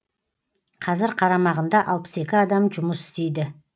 қазір қарамағында алпыс екі адам жұмыс істейді